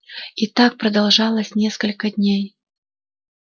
и так продолжалось несколько дней